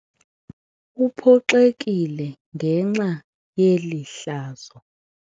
Uphoxekile ngenxa yeli hlazo.